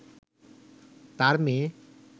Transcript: তার মেয়ে